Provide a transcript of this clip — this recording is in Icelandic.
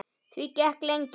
Því gekk lengi.